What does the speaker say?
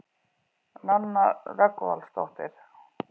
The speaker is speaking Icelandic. Nanna Rögnvaldardóttir.